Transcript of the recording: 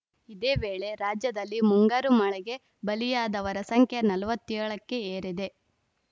ಇದೇ ವೇಳೆ ರಾಜ್ಯದಲ್ಲಿ ಮುಂಗಾರು ಮಳೆಗೆ ಬಲಿಯಾದವರ ಸಂಖ್ಯೆ ನಲವತ್ತ್ ಏಳ ಕ್ಕೆ ಏರಿದೆ